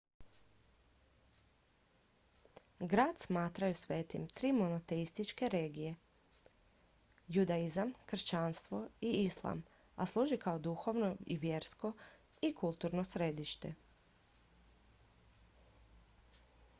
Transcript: grad smatraju svetim tri monoteističke religije judaizam kršćanstvo i islam a služi kao duhovno vjersko i kulturno središte